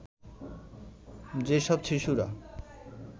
যে সব শিশুরা